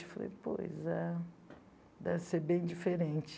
Eu falei, pois é, deve ser bem diferente.